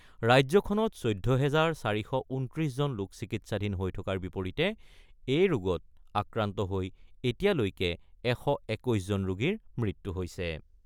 ৰাজ্যখনত ১৪ হেজাৰ ৪২৯ জন লোক চিকিৎসাধীন হৈ থকাৰ বিপৰীতে এই ৰোগত আক্ৰান্ত হৈ এতিয়ালৈকে ১২১ জন ৰোগীৰ মৃত্যু হৈছে ।